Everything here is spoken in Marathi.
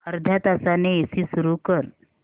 अर्ध्या तासाने एसी सुरू कर